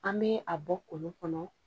An bɛ a bɔ kolon kɔnɔ